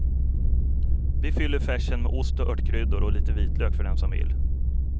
Vi fyller färsen med ost och örtkryddor och lite vitlök för den som vill.